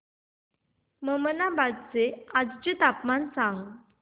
ममनाबाद चे आजचे तापमान सांग